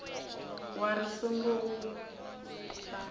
wa ri singo u a